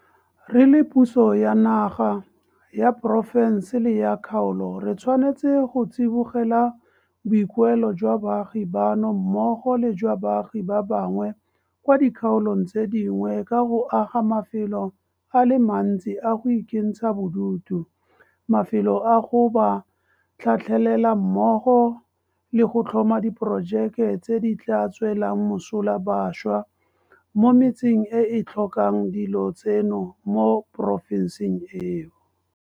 Re le puso ya naga, ya porofense le ya kgaolo re tshwanetse go tsibogela boikuelo jwa baagi bano mmogo le jwa baagi ba bangwe kwa dikgaolong tse dingwe ka go aga mafelo a le mantsi a go ikentsha bodutu, mafelo a go ba tlhatlhelela mmogo le go tlhoma diporojeke tse di tla tswelang mosola bašwa mo metseng e e tlhokang dilo tseno mo porofenseng eo.